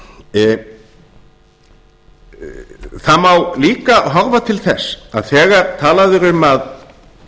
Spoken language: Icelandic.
hann það má líka horfa til þess að þegar talað er um að